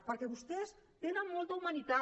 perquè vostès tenen molta humanitat